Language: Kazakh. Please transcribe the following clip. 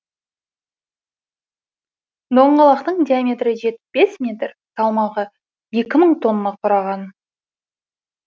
доңғалақтың диаметрі жетпіс бес метр салмағы екі мың тонна құраған